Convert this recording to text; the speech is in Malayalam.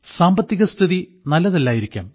സാമ്പത്തികസ്ഥിതി നല്ലതല്ലായിരിക്കാം